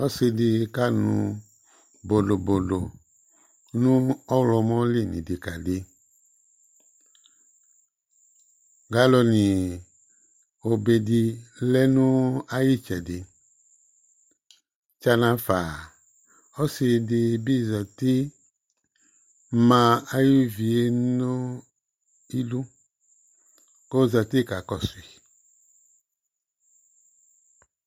Ɔsɩ dɩ kanʊ bodobodo nʊ ɔɣlɔmɔ li Galɔnɩ bɩ ma nʊ ayʊ ɛtʊ Tsana fa ɔsɩ dɩ bɩ zati ma uvi yɛ nʊ idu k'ozati ka kɔsʊ yɩ